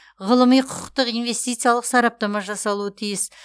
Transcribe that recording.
ғылыми құқықтық инвестициялық сараптама жасалуы тиіс